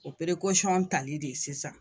O tali de ye sisan.